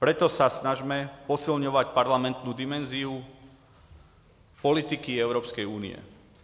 Proto se snažme posilovat parlamentní dimenzi politiky Evropské unie.